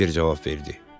Piçer cavab verdi.